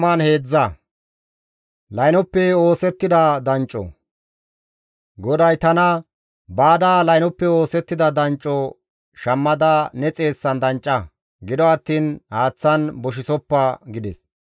GODAY tana, «Baada laynoppe oosettida dancco shammada ne xeessan dancca; gido attiin haaththan boshisoppa» gides.